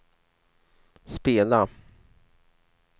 spela